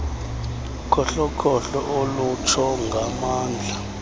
ukhohlokhohlo olutsho ngamandla